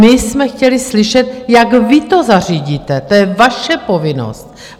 My jsme chtěli slyšet, jak vy to zařídíte, to je vaše povinnost.